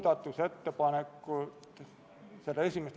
Palun võtta seisukoht ja hääletada!